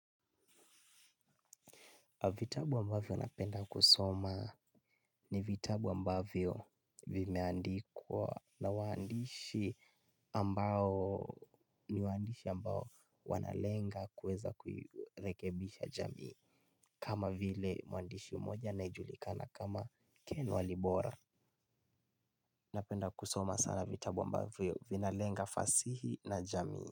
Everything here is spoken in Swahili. Vitabu ambavyo napenda kusoma ni vitabu ambavyo vimeandikwa na waandishi ambao ni waandishi ambao wanalenga kuweza kurekebisha jamii. Kama vile mwandishi mmoja anayejulikana kama ken walibora napenda kusoma sana vitabu ambavyo vinalenga fasihi na jamii.